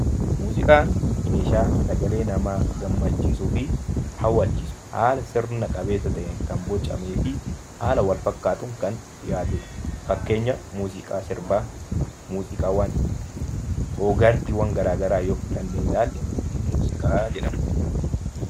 Muuziqaan meeshaa sagalee namaa gammachiisuu fi hawwachiisu haala sirna qabeessa ta'een kan bocamee fi haala Wal fakkaatuun kan dhiyaatuudha. Fakkeenya muuziqaa sirbaa, muuziqaa og-aartiiwwaan garaa garaa yoo fudhannee ilaallee muuziqaa jedhamu.